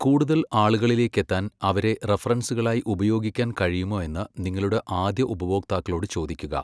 കൂടുതൽ ആളുകളിലേക്കെത്താൻ അവരെ റഫറൻസുകളായി ഉപയോഗിക്കാൻ കഴിയുമോ എന്ന് നിങ്ങളുടെ ആദ്യ ഉപഭോക്താക്കളോട് ചോദിക്കുക.